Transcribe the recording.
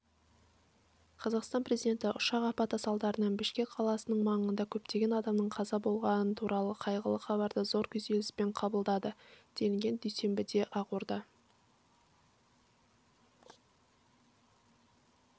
қазақстан президенті ұшақ апаты салдарынан бішкек қаласының маңында көптеген адамның қаза болғаны туралы қайғылы хабарды зор күйзеліспен қабылдады делінген дүйсенбіде ақорда